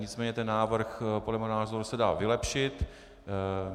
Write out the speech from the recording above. Nicméně ten návrh podle mého názoru se dá vylepšit.